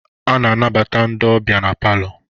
A na-anabata ndị ọbịa na palọ.